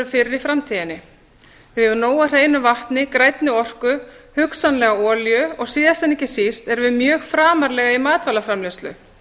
fyrir í framtíðinni við eigum nóg af hreinu vatni grænni orku hugsanlega olíu og síðast en ekki síst erum við mjög framarlega í matvælaframleiðslu